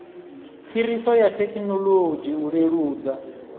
phiriso ya thekinolodzhi u leludza